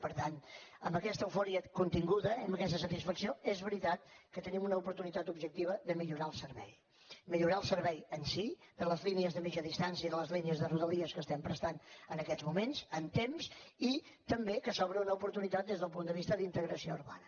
per tant amb aquesta eufòria continguda i amb aquesta satisfacció és veritat que tenim una oportunitat objectiva de millorar el servei millorar el servei en si de les línies de mitja distància i de les línies de rodalies que estem prestant en aquests moments en temps i també que s’obre una oportunitat des del punt de vista d’integració urbana